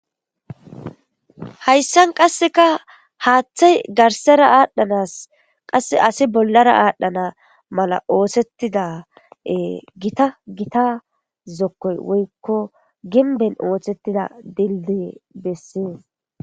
Hayssan qase haaththey garssara asi qassekabollara adhdhana mala oththetida Gita Gita gimbbey besees.